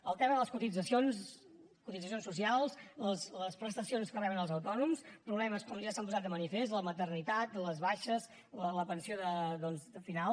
el tema de les cotitzacions cotitzacions socials les prestacions que reben els autònom problemes com ja s’han posat de manifest la maternitat les baixes la pensió final